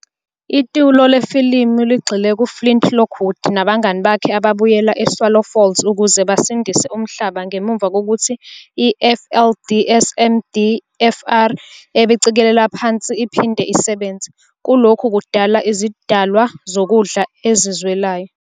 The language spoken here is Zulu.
Itulo lefilimu ligxile ku-Flint Lockwood nabangani bakhe ababuyela eSwallow Falls ukuze basindise umhlaba ngemuva kokuthi i-FLDSMDFR ebicekeleka phansi iphinde isebenze, kulokhu kudala izidalwa zokudla ezizwelayo.